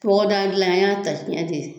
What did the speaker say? Bɔgɔdagadilan an y'a ta cɛn de ye